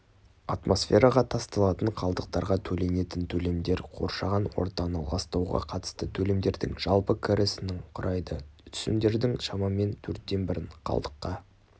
атмосфераға тасталатын қалдықтарға төленетін төлемдер қоршаған ортаны ластауға қатысты төлемдердің жалпы кірісінің құрайды түсімдердің шамамен төрттен бірін қалдыққа